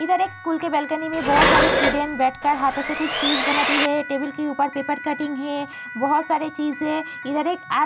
इधर एक स्कूल के बालकनी में बोहोत सारे स्टूडेंट बैठकर हाथों से कुछ चीज बनाती हैं। टेबल के ऊपर पेपर कटिंग है। बोहोत सारे चीजें इधर एक आ --